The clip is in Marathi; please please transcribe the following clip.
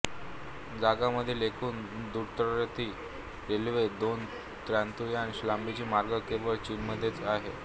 जगामधील एकूण द्रुतगती रेल्वेच्या दोन तृतियांश लांबीचे मार्ग केवळ चीनमध्येच आहेत